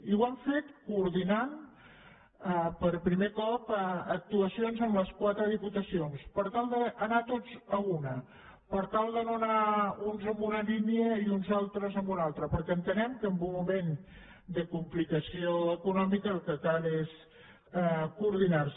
i ho hem fet coordinant per primer cop actuacions amb les quatre diputacions per tal d’anar tots a una per tal de no anar uns en una línia i uns altres en una altra perquè entenem que en un moment de complicació econòmica el que cal és coordinar se